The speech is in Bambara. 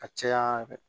Ka caya